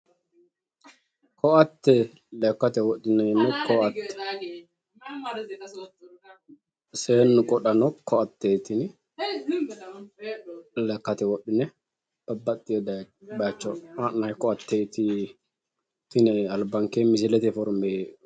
koatte lekkate wodhineemmo koatteeti seennu wodhaate koatteeti tini albankeenni leeltannoti.